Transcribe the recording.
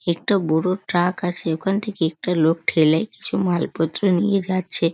একটা বড়ো ট্রাক আছে ওই খান থেকে একটা লোক ঠেলে কিছু মাল পত্র নিয়ে যাচ্ছে।